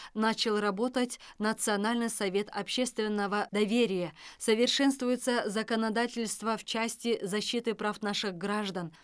начал работать национальный совет общественного доверия совершенствуется законодательство в части защиты прав наших граждан